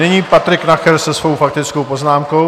Nyní Patrik Nacher se svou faktickou poznámkou.